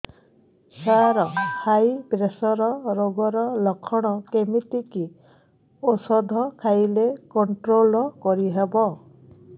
ସାର high pressure ରୋଗର ଲଖଣ କେମିତି କି ଓଷଧ ଖାଇଲେ କଂଟ୍ରୋଲ କରିହେବ